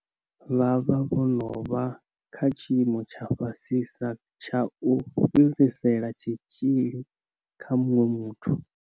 Vha vha vho no vha kha tshiimo tsha fhasisa tsha u fhirisela tshitzhili kha muṅwe muthu.